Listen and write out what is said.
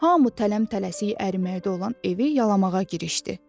Hamı tələm-tələsik əriməkdə olan evi yalamağa girişdi.